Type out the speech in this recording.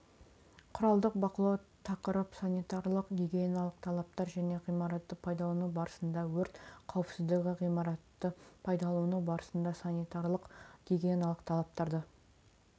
құралдық бақылау тақырып санитариялық-гигиеналық талаптар және ғимаратты пайдалану барысында өрт қауіпсіздігі ғимаратты пайдалану барысында санитариялық-гигиеналық талаптарды